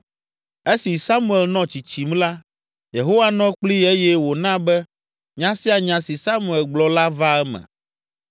Esi Samuel nɔ tsitsim la, Yehowa nɔ kplii eye wòna be nya sia nya si Samuel gblɔ la vaa eme.